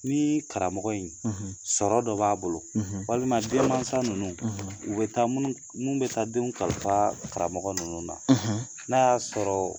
Ni karamɔgɔ in sɔrɔ dɔ b'a bolo walima denmansa ninnu u bɛ taa minnu bɛ taa denw kalifa karamɔgɔ ninnu na n'a y'a sɔrɔ